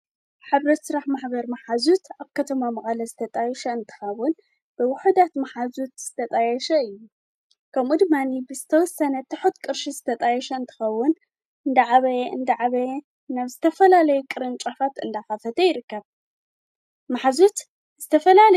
ሕብረት ሥራሕ ማኅበር መሓዙት ኣብ ከተማ መቐለ ዝተጣይሽ እንትኸውን ብውሑዳት መሓዙት ዝተጣየሻ እዩ ከምኡድማኒ ብስተውሰነተሑድ ቅርሽ ዝተጣየሸ እንትኸውን እንደዕበየ እንደዓበየ ናብ ዝተፈላለይ ቕርን ቋፋት ኣለኻፈተ ይርከብ ማሓዙት ዝተፈላለየ እዩ።